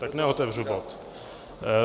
Tak neotevřu bod.